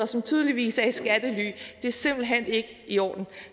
som tydeligvis er i skattely det er simpelt hen ikke i orden